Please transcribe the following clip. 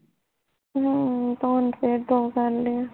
ਹਮ ਤੇ ਹੁਣ ਫੇਰ ਦੋ ਕਰਲੀਆ